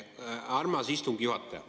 Armas istungi juhataja!